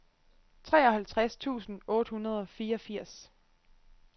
treoghalvtreds tusind otte hundrede og fireogfirs